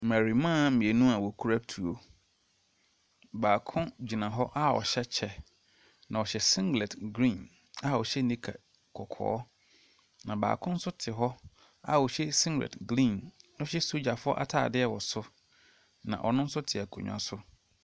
Mmarimaa mmienu a wɔkura tuo. Baako gyina hɔ a ɔhyɛ kyɛ. Na ɔhyɛ singlɛt green a ɔhyɛ nika kɔkɔɔ. Na baako nso te hɔ a ɔhyɛ singlɛt green na ɔhyɛ sogyafo ataadeɛ wɔ so. Na ɔno nso te akonnwa so.